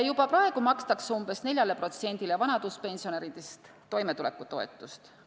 Juba praegu makstakse umbes 4%-le vanaduspensionäridest toimetulekutoetust.